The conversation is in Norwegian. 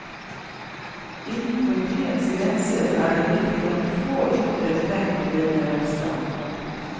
Innenfor byens grenser er det riktignok få ytre tegn på denne velstanden.